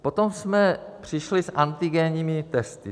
Potom jsme přišli s antigenními testy.